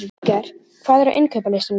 Holger, hvað er á innkaupalistanum mínum?